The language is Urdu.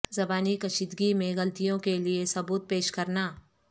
زبانی کشیدگی میں غلطیوں کے لئے ثبوت پیش کرنا